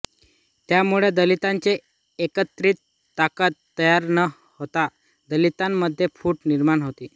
त्यामुळे दलितांची एकत्रित ताकद तयार न होता दलितांमध्येच फूट निर्माण होते